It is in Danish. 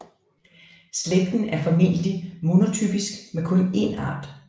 Slægten er formentlig monotypisk med kun én art